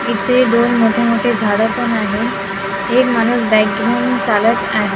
इथे दोन मोठे मोठे झाडं पण आहेत एक माणूस बॅग घेऊन चालत आहे.